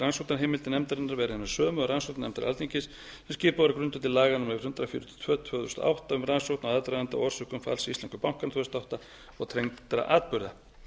rannsóknarheimildir nefndarinnar vera hinar sömu og rannsóknarnefndar alþingis sem skipuð var á grundvelli laga númer hundrað fjörutíu og tvö tvö þúsund og átta um rannsókn á aðdraganda og orsökum falls íslensku bankanna tvö þúsund og átta og tengdra atburða